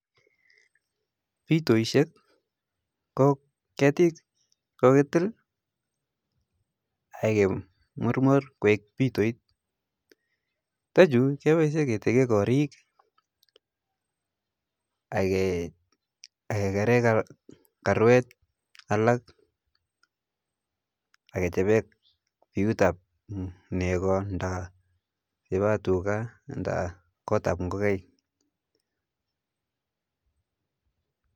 Bitoishek ko ketik chi kikelitil ak kemurmur koek pitoit, chichatu kepaishe ketekee karik akekaree kaerwt alak ak kechapee piut ap neko nda nepo tuka nda kotap ngokaik